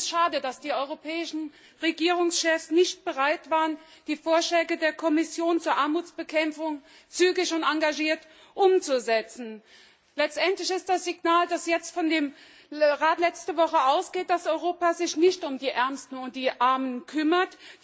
Ich finde es schade, dass die europäischen Regierungschefs nicht bereit waren, die Vorschläge der Kommission zur Armutsbekämpfung zügig und engagiert umzusetzen. Letztendlich ist das Signal, das von dem Rat letzte Woche ausgeht, dass sich Europa jetzt nicht um die Ärmsten und die Armen kümmert.